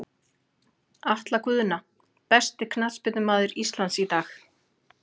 Atla Guðna Besti knattspyrnumaður Íslands í dag?